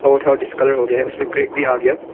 वो थोड़ा डिस्कलॉर हो गया उसपे क्रैक भी आ गया --